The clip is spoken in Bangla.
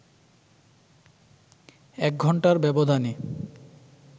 এক ঘন্টার ব্যবধানে